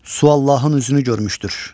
Su Allahın üzünü görmüşdür.